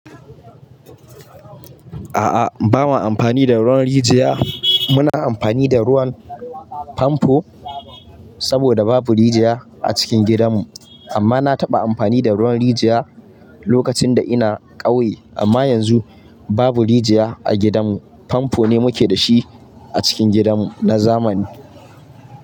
A'a, ba ma amfani da ruwan rijiya. Muna amfani da ruwan famfo saboda babu rijiya a cikin gidanmu. Amma na taɓa amfani da ruwan rijiya lokacin da ina ƙauye. Amma yanzu babu rijiya a gidanmu, famfo ne muke da shi a cikin gidanmu na zamani.